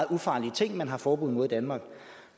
ufarlige ting man har forbud mod i danmark